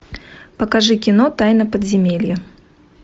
покажи кино тайна подземелья